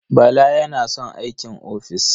Bala yana son aikin ofis.